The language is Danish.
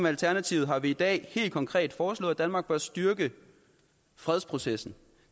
alternativet har vi i dag helt konkret foreslået at danmark bør styrke fredsprocessen